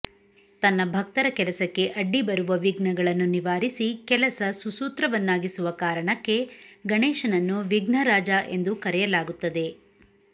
ತನ್ನ ಭಕ್ತರ ಕೆಲಸಕ್ಕೆ ಅಡ್ಡಿಬರುವ ವಿಘ್ನಗಳನ್ನು ನಿವಾರಿಸಿ ಕೆಲಸ ಸುಸೂತ್ರವನ್ನಾಗಿಸುವ ಕಾರಣಕ್ಕೆ ಗಣೇಶನನ್ನು ವಿಘ್ನರಾಜ ಎಂದು ಕರೆಯಲಾಗುತ್ತದೆ